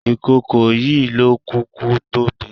Ìkòkò yìí ló kúkú tóbi.